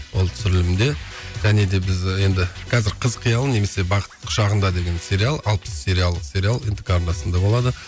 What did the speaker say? ол түсірілімде және де біз енді қазір қыз қиялы немесе бақыт құшағында деген сериал алпыс сериалдық сериал нтк арнасында болады